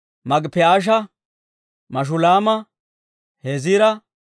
Maagippi'aasha, Mashulaama, Heziira,